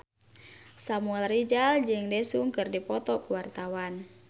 Samuel Rizal jeung Daesung keur dipoto ku wartawan